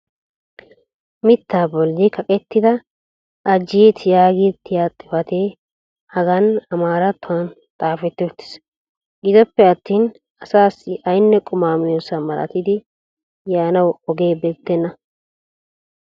mitaa boli kaqettida ajiyet yaagettiya xifatee hagan amaaratuwan xaafetti uttiis. gidoppe attin asaassi aynne quma miyosa malatidi yaanawu oge bessenna.